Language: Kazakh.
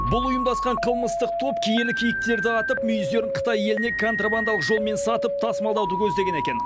бұл ұйымдасқан қылмыстық топ киелі киіктерді атып мүйіздерін қытай еліне контрабандалық жолмен сатып тасымалдауды көздеген екен